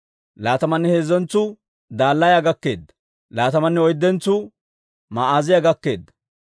Laatamanne heezzentsuu Dalaaya gakkeedda. Laatamanne oyddentsuu Ma'aaziyaa gakkeedda.